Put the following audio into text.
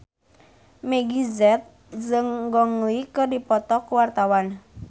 Meggie Z jeung Gong Li keur dipoto ku wartawan